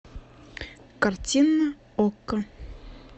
картина окко